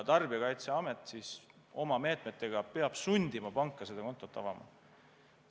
Tarbijakaitseamet peab oma meetmetega sundima panka kontot avama.